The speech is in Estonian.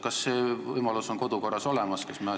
Kas see võimalus on kodukorras olemas?